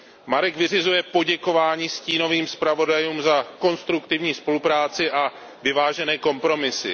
Marek vyřizuje poděkování stínovým zpravodajům za konstruktivní spolupráci a vyvážené kompromisy.